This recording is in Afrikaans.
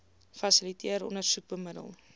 fasiliteer ondersoek bemiddel